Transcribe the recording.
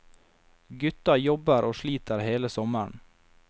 Gutta jobber og sliter hele sommeren.